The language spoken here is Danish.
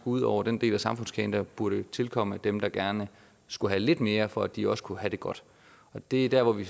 ud over den del af samfundskagen der burde tilkomme dem der gerne skulle have lidt mere for at de også kunne have det godt og det er der hvor vi